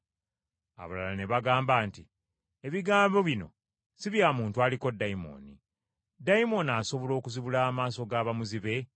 Abalala ne bagamba nti, “Ebigambo bino si bya muntu aliko dayimooni. Dayimooni asobola okuzibula amaaso ga bamuzibe?”